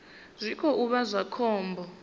zwi khou vha zwa khombo